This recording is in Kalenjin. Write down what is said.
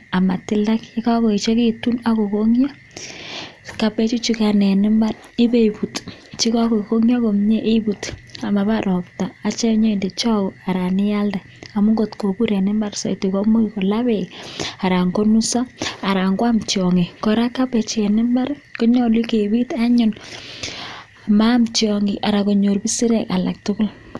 anan kindee chagee maaam isireek anan kotugun alak tugul